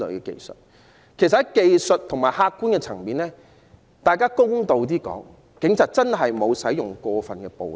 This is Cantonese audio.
其實，在技術和客觀層面，公道而言，警方真的沒有過分使用暴力。